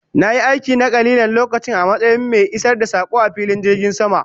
Na yi aiki na kalilan lokaci a matsayin mai isar da sako a filin jirgin sama